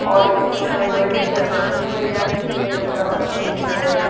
ਔਰ ਇੱਸ ਲੋਹੇ ਦੀ ਚੱਦਰ ਬਣੀ ਹੋਈ ਹੈ ਜਿੱਸ ਤੇ ਬੱਚਾ ਊਪਰ ਖੇਡ ਰਿਹਾ ਯਾ।